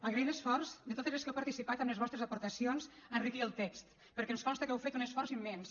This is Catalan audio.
agrair l’esforç de totes les que heu participat amb les vostres aportacions a enriquir el text perquè ens consta que heu fet un esforç immens